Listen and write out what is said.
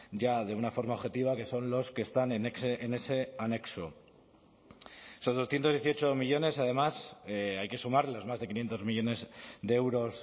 ya de una forma objetiva que son los que están en ese anexo esos doscientos dieciocho millónes además hay que sumar los más de quinientos millónes de euros